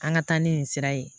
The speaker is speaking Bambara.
An ka taa ni nin sira ye